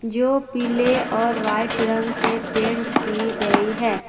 जो पीले और व्हाइट रंग से पेंट की गई है।